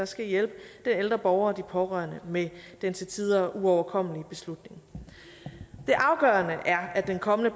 skal hjælpe de ældre borgere pårørende med den til tider uoverkommelige beslutning det afgørende er at den kommende